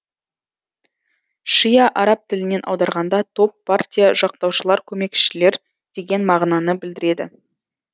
шиа араб тілінен аударғанда топ партия жақтаушылар көмекшілер деген мағынаны білдіреді